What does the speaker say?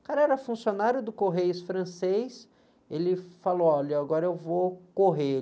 O cara era funcionário do Correios francês, ele falou, olha, agora eu vou correr.